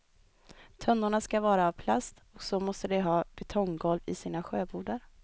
Tunnorna ska vara av plast, och så måste de ha betonggolv i sina sjöbodar.